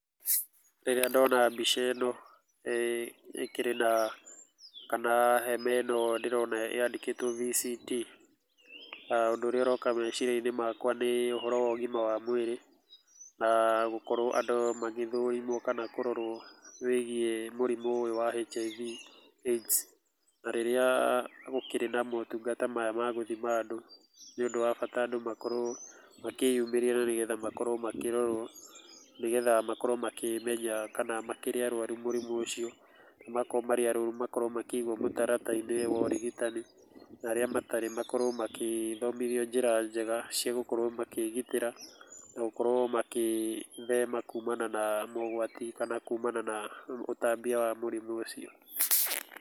Rĩrĩa ndona mbica ĩno, ĩkĩrĩ na, kana hema ĩno ndĩrona yandĩkĩtwo VCT, ũndũ ũrĩa ũroka meciria-inĩ makwa nĩ ũhoro wa ũgima wa mwĩrĩ, na gũkorwo andũ magĩthũrimwo kana kũrorwo wĩgiĩ mũrimũ ũyũ wa HIV/AIDS . Na rĩrĩa gũkĩrĩ na motungata maya ma gũthima andũ, nĩ ũndũ wa bata andũ makorwo makĩyumĩria na nĩ getha makorwo makĩrorwo nĩgetha makorwo makĩmenya kana makĩrĩ arwaru mũrimũ ũcio, na makorwo marĩ arwaru makorwo makĩigwo mũtaratara-inĩ wa ũrigitani, na arĩa matarĩ makorwo makĩthomithio njĩra njega cia gũkorwo makĩĩgitĩra na gũkorwo makĩĩthema kumana na mogwati kana kumana na ũtambia wa mũrimũ ũcio.